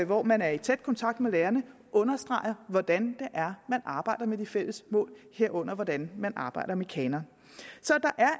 hvor man er i tæt kontakt med lærerne understreger hvordan det er man arbejder med de fælles mål herunder hvordan man arbejder med kanon så